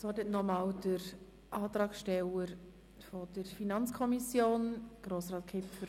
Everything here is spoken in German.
Das Wort hat nochmals der Antragsteller der FiKo-Minderheit, Grossrat Kipfer.